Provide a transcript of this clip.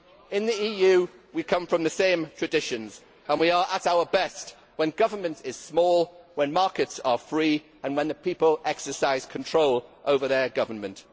In the EU we come from the same traditions and we are at our best when government is small, when markets are free and when the people exercise control over their government.